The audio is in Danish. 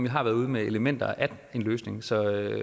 har været ude med elementer af en løsning så